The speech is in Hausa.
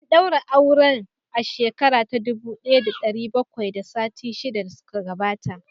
An daura auren a shekara ta dubu daya da dari bakwai da sittin da shida da suka gabata